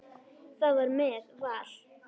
Það var með Val.